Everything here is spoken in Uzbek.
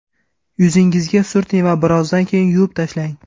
Yuzingizga surting va birozdan keyin yuvib tashlang.